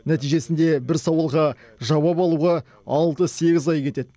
нәтижесінде бір сауалға жауап алуға алты сегіз ай кетеді